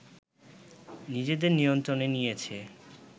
নিজেদের নিয়ন্ত্রণে নিয়েছে